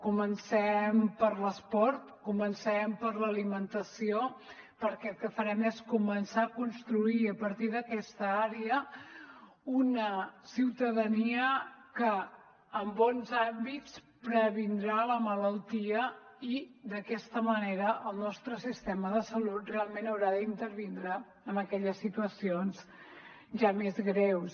comencem per l’esport comencem per l’alimentació perquè el que farem és començar a construir a partir d’aquesta àrea una ciutadania que amb bons hàbits previndrà la malaltia i d’aquesta manera el nostre sistema de salut realment haurà d’intervindre en aquelles situacions ja més greus